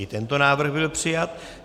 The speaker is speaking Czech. I tento návrh byl přijat.